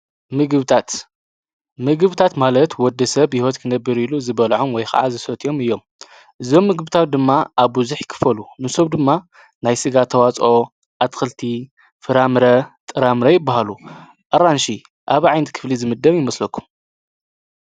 ምግብታት ምግብታት ማለት ወዲ ሰብ ሕይወት ክነብር ኢሉ ዝበልዖም ወይ ከዓ ዝሰት ኦም እዮም እዞም ምግብታት ድማ ኣብ ዙኅ ይክፈሉ ምሶብ ድማ ናይ ሥጋ ተዋፅ ኣትክልቲ ፍራምረ ጥራምረ ይበሃሉ ኣራንሽ ኣብ ዓይንቲ ክፍሊ ዝምደም ይመስለኩ::